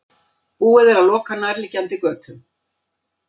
Búið er að loka nærliggjandi götum